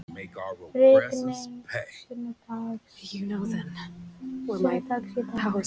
Rigning sunnanlands í dag